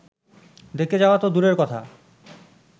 দেখতে যাওয়া তো দূরের কথা